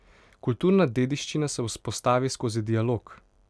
Kulturna dediščina se vzpostavi skozi dialog.